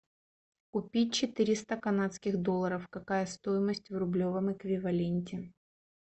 купить четыреста канадских долларов какая стоимость в рублевом эквиваленте